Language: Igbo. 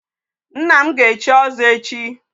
Nna m ga-echi ọzọ echi.